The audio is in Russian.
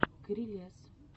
крелез